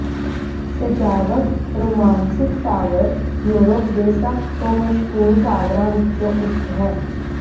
ਸਜਾਵਟ Romanesque tower Europe ਦੇ ਸਭ ਤੋਂ ਮਸ਼ਹੂਰ ਟਾਵਰਾਂ ਵਿੱਚੋਂ ਇਕ ਹੈ